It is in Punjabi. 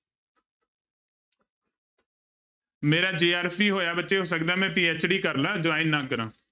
ਮੇਰਾ JRP ਹੋਇਆ ਬੱਚੇ, ਹੋ ਸਕਦਾ ਮੈਂ PhD ਕਰ ਲਵਾਂ join ਨਾ ਕਰਾਂ।